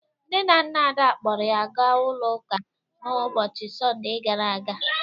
Nne na nna Ada kpọrọ ya ga ụlọ ụka n'ụbọcịi Sọnde gara aga